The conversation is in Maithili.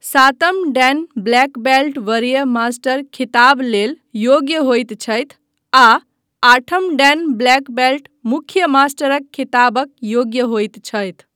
सातम डैन ब्लैक बेल्ट वरीय मास्टर ख़िताब लेल योग्य होइत छथि आ आठम डैन ब्लैक बेल्ट मुख्य मास्टरक खिताबक योग्य होइत छथि।